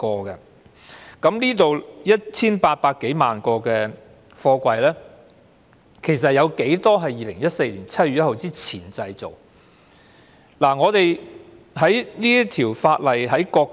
而在這 1,830 萬個貨櫃中，有多少是2014年7月1日前建造的呢？